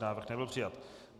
Návrh nebyl přijat.